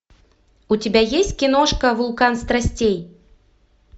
у тебя есть киношка вулкан страстей